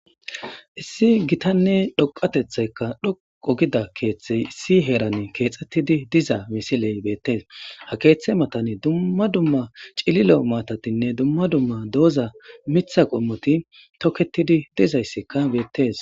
issi gitanne dhoqatethaykka dhoqo gida keeththey issi heeran keexxettidi diza misiley beettees ha keeththe matani dumma dumma cilile maatatinne dumma dumma dooza mitha qommoti tokkettidi dizayssikka beettes